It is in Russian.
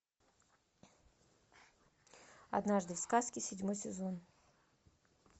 однажды в сказке седьмой сезон